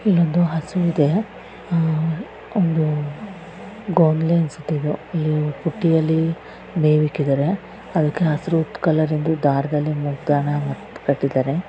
ಇಲ್ಲೊಂದು ಹಸು ಇದೆ. ಅಹ್ ಒಂದು ಅಲ್ಲಿ ಬುಟ್ಟಿಯಲ್ಲಿ ಮೇವಿಕ್ಕಿದ್ದಾರೆ. ಅದಕ್ಕೆ ಹಸಿರು ಕಲರ್ ಇಂದು ದಾರದಿಂದ ಮೂಗದಾನ ಕಟ್ಟಿದ್ದಾರೆ.